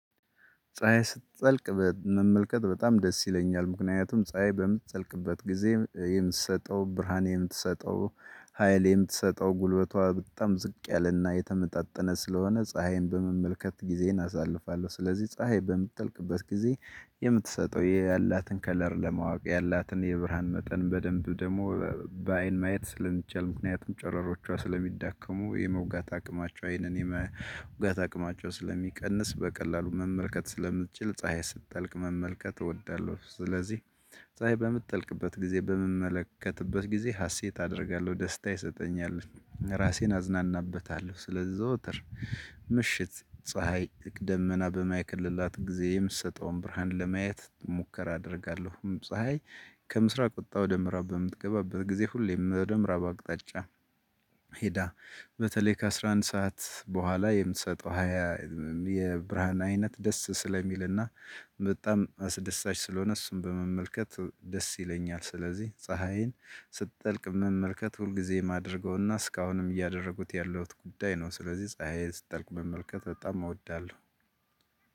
ፀሀይ ስትጸልቅ መመልከት በጣም ደስ ይለኛል ምክንያቱም ፀሀይ በምትጠልቅበት ጊዜ የምትሰጠው ብርሃን የምትሰጠው ሀይል የምትሰጠው ጉልበቷ በጣም ዝቅ ያለና የተመጣጠነ ስለሆነ ፀሀይን በመመልከት ጊዜን አሳልፋለሁ ስለዚህ ፀሀይ በምትጠልቅበት ጊዜ የምትሰጠው ያላትን ከለር ለማወቅ ያላትን የብርሃን መጠን በደንብ ደግሞ በአይን ማየት ስለሚቻል ምክንያቱም ጨረሮቿ ስለሚዳከሙ የመውጋት አቅማቸው አይንን የመውጋት አቅማቸው ስለሚቀንስ በቀላሉ መመልከት ስለምትችል ፀሀይ ስትጠልቅ መመልከት እወዳለሁ። ስለዚህ ፀሀይ በምትጠልቅበት ጊዜ በምመለከትበት ጊዜ ሀሴት አደርጋለሁ ደስታ ይሰጠኛል። ራሴን አዝናናበታለሁ ስለዘወትር ፀሀይ ደመና በማይከልላት ጊዜ የምትሰጠውን ብርሃን ለማየት ሙከራ አደርጋለሁም። ፀሀይ ከምስራቅ ወጣ ወደ ምዕራብ በምትገባበት ጊዜ ሁሌም ወደ ምዕራብ አቅጣጫ። ሄዳ በተለይ ከአስራ አንድ ሰዓት በኋላ የምትሰጠው ሃያ የብርሃን አይነት ደስ ስለሚልና በጣም አስደሳች ስለሆነ እሱን በመመልከት ደስ ይለኛል። ስለዚህ ፀሀይን ስትጠልቅ መመልከት ሁል ጊዜ የማደርገውና እስካሁንም እያደረጉት ያለሁት ጉዳይ ነው። ስለዚህ ፀሀይን ስትጠልቅ መመልከት በጣም እወዳለሁ።